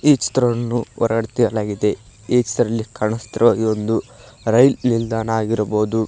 ಈ ಚಿತ್ರವನ್ನು ಹೊರಡೆ ತೆಗೆಯಲಾಗಿದೆ ಈ ಚಿತ್ರದಲ್ಲೂ ಕಾನಸ್ತಿರುವಾಗೆ ಒಂದು ರೈಲ್ ನಿಲ್ದಾಣ ಆಗಿರ್ಬೋದು.